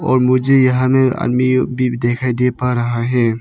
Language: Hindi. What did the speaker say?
और मुझे यहां में अन्य दिखाई दे पा रहा है।